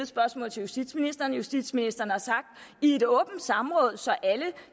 spørgsmål til justitsministeren justitsministeren har i et åbent samråd så alle